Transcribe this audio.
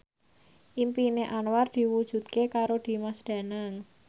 impine Anwar diwujudke karo Dimas Danang